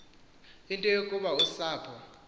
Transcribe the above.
into yokuba usapho